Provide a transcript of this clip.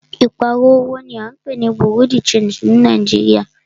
Ìpààrọ̀ owó ní à ń pé ní Bureau de changii ní Nàìjíríà.